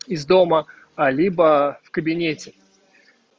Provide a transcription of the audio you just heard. из дома а либо в кабинете